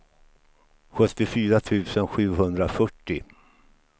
sjuttiofyra tusen sjuhundrafyrtio